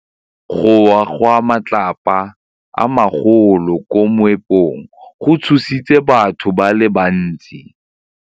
Go wa ga matlapa a magolo ko moepong go tshositse batho ba le bantsi.